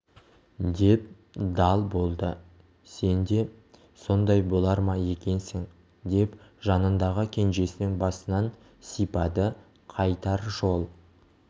деп дал болды сен де сондай болар ма екенсің деп жанындағы кенжесінің басынан сипады қайтар жол